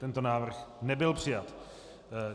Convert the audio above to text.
Tento návrh nebyl přijat.